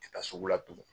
Tɛ taa sugu la tugun